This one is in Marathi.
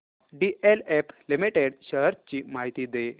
डीएलएफ लिमिटेड शेअर्स ची माहिती दे